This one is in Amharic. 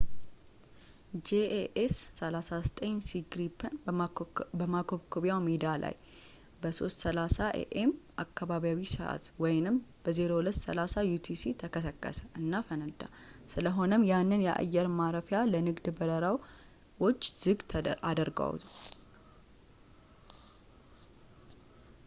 jas 39c gripen በማኮብኮብያ ሜዳ ላይ በ9፡30 am አካባቢያዊ ሰዕት 0230 utc ተከሰከሰ እና ፈነዳ፣ ስለሆነም ያንን የአየር ማረፊያ ለንግድ በረራውች ዝግ አደረገው